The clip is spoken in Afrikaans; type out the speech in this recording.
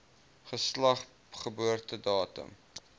geslag geboortedatum